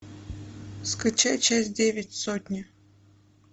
скачай часть девять сотня